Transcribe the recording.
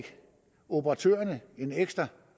operatørerne en ekstra